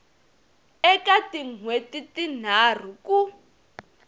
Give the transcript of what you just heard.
eka tin hweti tinharhu ku